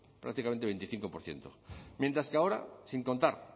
prácticamente el veinticinco por ciento mientras que ahora sin contar